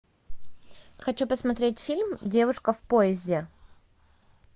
хочу посмотреть фильм девушка в поезде